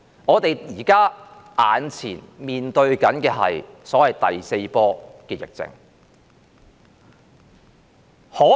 我們眼前面對所謂第四波疫情。